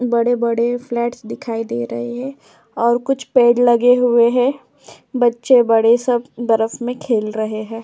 बड़े-बड़े फ्लैट्स दिखाई दे रहे हैं और कुछ पेड़ लगे हुए हैं। बच्चे बड़े सब बर्फ में खेल रहे हैं।